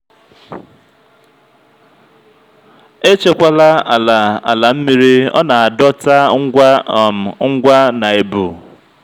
echekwala ala ala mmiri ọ na-adọta ngwa um ngwa na ebu.